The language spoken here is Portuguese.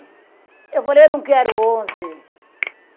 Eu falei, eu não quero onze.